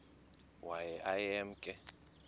waye aye emke